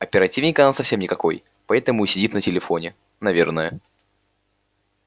оперативник она совсем никакой потому и сидит на телефоне наверное